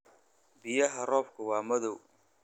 Biyaha roobka waa madow.